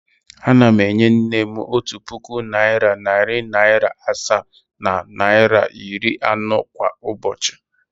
Ana m enye nne m otu puku naịra, narị naịra asaa na naịra iri anọ kwa ụbochị.